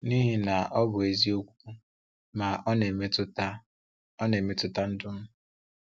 N’ihi na ọ bụ eziokwu, ma ọ na-emetụta ọ na-emetụta ndụ m.